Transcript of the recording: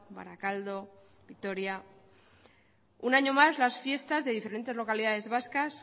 barakaldo vitoria un año más las fiestas de diferentes localidades vascas